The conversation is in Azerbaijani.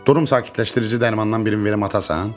Durum sakitləşdirici darmandan birini verim atasan?